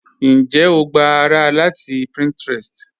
Ǹjẹ́ o gbà ará láti Pinterest?